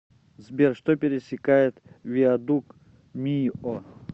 сбер что пересекает виадук мийо